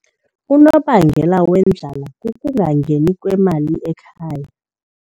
Unobangela wendlala kukungangeni kwemali ekhaya.